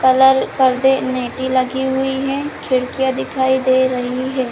Colour पर्दे नेटी लगी हुई है खिड़कियाँ दिखाई दे रही हैं ।